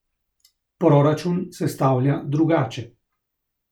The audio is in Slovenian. Proračun sestavlja drugače.